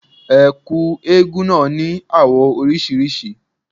Ẹ̀kú eégún náà ní àwọ̀ oríṣiríṣi.